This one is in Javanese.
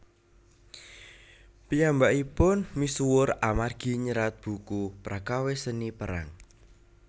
Piyambakipun misuwur amargi nyerat buku prakawis Seni Perang